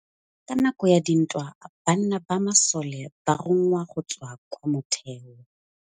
Ka nakô ya dintwa banna ba masole ba rongwa go tswa kwa mothêô.